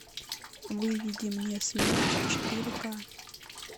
выведи мне смерч четыре ка